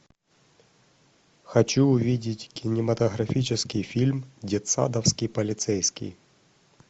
хочу увидеть кинематографический фильм детсадовский полицейский